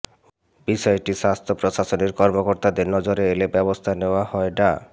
বিষয়টি স্বাস্থ্য প্রশাসনের কর্মকর্তাদের নজরে এলে ব্যবস্থা নেওয়া হয় ডা